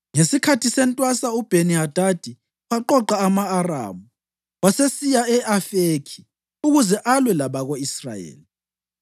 Ngesikhathi sentwasa uBheni-Hadadi waqoqa ama-Aramu wasesiya e-Afekhi ukuze alwe labako-Israyeli.